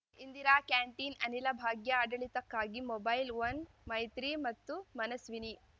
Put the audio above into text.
Indira canteen Anila Bhagya ಆಡಳಿತಕ್ಕಾಗಿ mobile one Maitri ಮತ್ತು ಮನಸ್ವಿನಿ